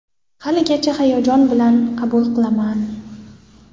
Haligacha hayajon bilan qabul qilaman.